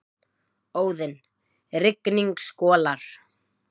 Óðinn: Rigning skolar.